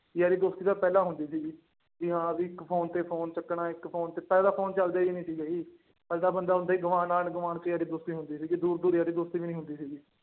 ਯਾਰੀ ਦੋਸਤੀ ਤਾਂ ਪਹਿਲਾਂ ਹੁੰਦੀ ਸੀਗੀ ਵੀ ਹਾਂ ਵੀ ਇੱਕ ਫ਼ੋਨ ਤੇ ਫ਼ੋਨ ਚੁੱਕਣਾ ਇੱਕ ਫ਼ੋਨ ਤੇ ਪਹਿਲਾਂ ਫ਼ੋਨ ਚੱਲਦੇ ਹੀ ਨੀ ਸੀਗੇ, ਪਹਿਲਾਂ ਬੰਦਾ ਹੁੰਦਾ ਹੀ ਗੁਆਂਢ ਆਂਢ ਗੁਆਂਢ ਚ ਯਾਰੀ ਦੋਸਤੀ ਹੁੰਦੀ ਸੀਗੀ ਦੂਰ ਦੂਰ ਯਾਰੀ ਦੋਸਤੀ ਵੀ ਨੀ ਹੁੰਦੀ ਸੀਗੀ।